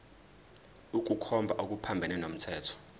ukukhomba okuphambene nomthetho